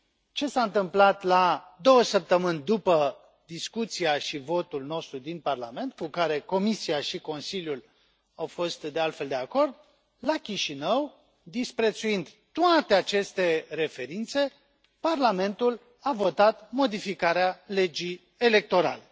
Ce s a întâmplat la două săptămâni după discuția și votul nostru din Parlament, cu care Comisia și Consiliul au fost, de altfel, de acord, la Chișinău, disprețuind toate aceste referințe, Parlamentul a votat modificarea legii electorale.